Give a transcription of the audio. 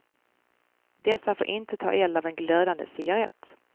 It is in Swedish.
Dessa får inte ta eld av en glödande cigarett.